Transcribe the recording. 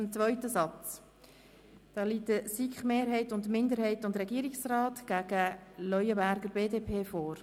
Zum zweiten Satz liegen die Anträge der SiK-Mehrheit, der SiK-Minderheit und des Regierungsrats gegen den Antrag der BDP vor.